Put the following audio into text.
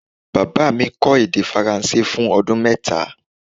Baba mi kó̩ èdè faransé fun o̩dún mẹ́ta